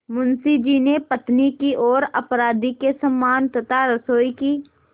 मुंशी जी ने पत्नी की ओर अपराधी के समान तथा रसोई की